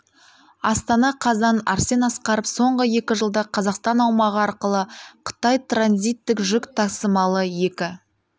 астана қазан арсен асқаров соңғы екі жылда қазақстан аумағы арқылы қытай транзиттік жүк тасымалы екі